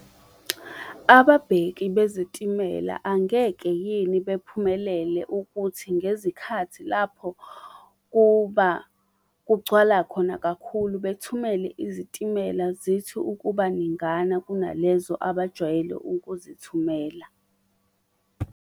Ababheki bezitimela angeke yini bephumelele ukuthi ngezikhathi lapho kuba, kugcwala khona kakhulu bethumele izitimela zithi ukuba ningana kunalezo abajwayele ukuzithumela?